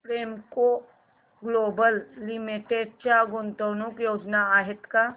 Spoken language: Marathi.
प्रेमको ग्लोबल लिमिटेड च्या गुंतवणूक योजना आहेत का